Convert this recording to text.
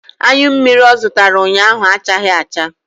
Anyụ mmiri ọ zụtara ụnyaahụ achaghị acha.